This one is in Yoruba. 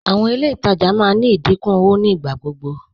Àwọn ilẹ̀ ìtajà máa ní ìdíkún owó nígbàgbọgbọ